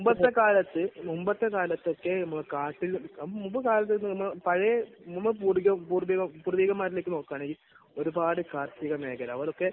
മുൻപത്തെ കാലത്ത് മുൻപത്തെ കാലത്തൊക്കെ നമ്മൾ കാട്ടിൽ, മുൻപ് കാലത്തൊക്കെ എന്ന് പറഞ്ഞാൽ പഴയ നമ്മൾ പൂർവിക, പൂർവികന്മാരിലേയ്ക്ക് നോക്കുകയാണെങ്കിൽ ഒരുപാട് കാർഷിക മേഖല ഓരൊക്കെ